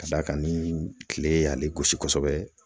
Ka da kan ni kile y'ale gosi kosɛbɛ